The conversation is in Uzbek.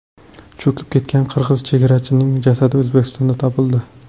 Cho‘kib ketgan qirg‘iz chegarachining jasadi O‘zbekistonda topildi.